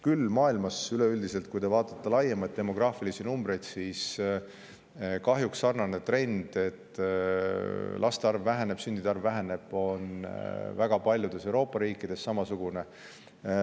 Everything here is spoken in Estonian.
Küll on maailmas kahjuks sarnane trend üleüldiselt valdav, kui te vaatate laiemalt demograafilisi numbreid: laste ja sündide arv väheneb ning see on väga paljudes Euroopa riikides samamoodi.